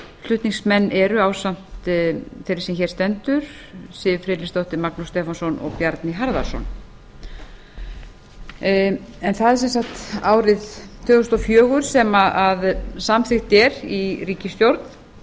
flutningsmenn eru ásamt þeirri sem hér stendur siv friðleifsdóttir magnús stefánsson og bjarni harðarson það er árið tvö þúsund og fjögur sem samþykkt er í ríkisstjórn